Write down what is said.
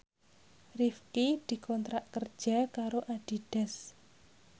Rifqi dikontrak kerja karo Adidas